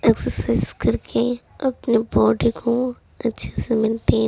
exercise करके अपने body को अच्छे से मेनटेन --